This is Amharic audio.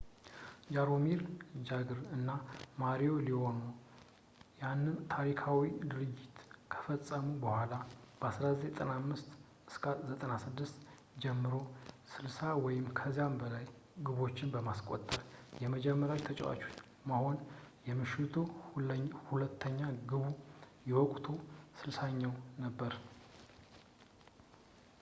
ጃሮሚር ጃግር እና ማሪዮ ሌምዋ ያንን ታሪካዊ ድርጊት ከፈጸሙ በኋላ፣ ከ1995-96 ጀምሮ 60 ወይም ከዚያ በላይ ግቦችን ለማስቆጠር የመጀመሪያው ተጫዋች መሆን፣ የምሽቱ ሁለተኛ ግቡ የወቅቱ 60ኛው ነበር